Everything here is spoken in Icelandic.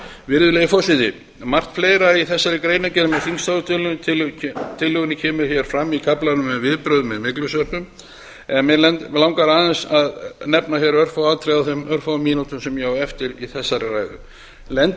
virðulegi forseti margt fleira í þessari greinargerð með þingsályktunartillögunni kemur hér fram í kaflanum um viðbrögð við myglusveppum en mig langar aðeins að nefna hér örfá atriði á þeim fáu mínútum sem ég á eftir í þessari ræðu lendi fólk